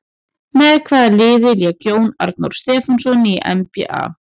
Með hvaða liði lék Jón Arnór Stefánsson í NBA?